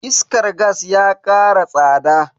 Iskar gas ya kara tsada.